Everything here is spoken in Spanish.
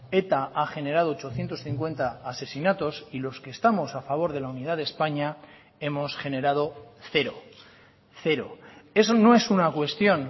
eta ha generado ochocientos cincuenta asesinatos y los que estamos a favor de la unidad de españa hemos generado cero cero eso no es una cuestión